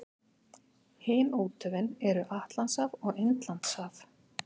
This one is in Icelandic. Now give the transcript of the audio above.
Hin úthöfin eru Atlantshaf og Indlandshaf.